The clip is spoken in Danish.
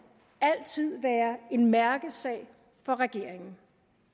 altid være en mærkesag for regeringen